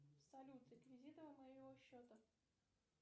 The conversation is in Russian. салют реквизиты моего счета